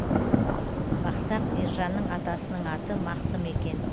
бақсақ ержанның атасының аты мақсым екен